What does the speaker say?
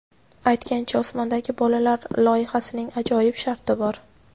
Aytgancha, "Osmondagi bolalar" loyihasining ajoyib sharti bor.